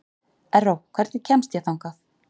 Erró, hvernig kemst ég þangað?